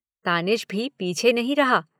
तानिश भी पीछे नहीं रहा।